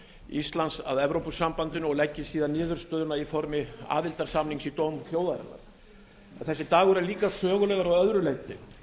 íslands að evrópusambandinu og leggi síðan niðurstöðuna í formi aðildarsamnings í dóm þjóðarinnar þessi dagur er líka sögulegur að öðru leyti